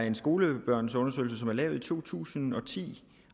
en skolebørnsundersøgelse som er lavet i to tusind og ti